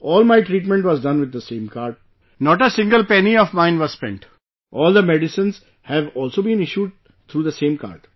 All my treatment was done with the same card, not a single penny of mine was spent, all the medicines have also been issued through the same card